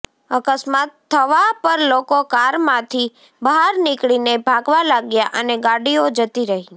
અકસ્માત થવા પર લોકો કારમાંથી બહાર નીકળીને ભાગવા લાગ્યા અને ગાડીઓ જતી રહી